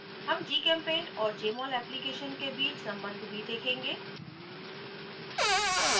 हम gchempaint और jmol application के बीच सम्बन्ध भी देखेंगे